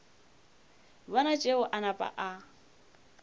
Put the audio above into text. bona tšeo a napa a